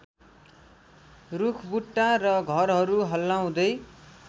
रूखबुट्टा र घरहरू हल्लाउँदै